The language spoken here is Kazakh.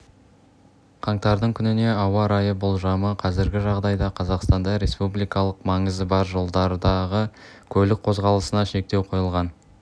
қаңтардың күніне ауа райы болжамы қазіргі жағдайда қазақстанда республикалық маңызы бар жолдардағы көлік қозғалысына шектеу қойылған